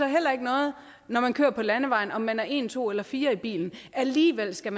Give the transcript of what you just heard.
heller ikke noget når man kører på landevejen om man er en to eller fire i bilen alligevel skal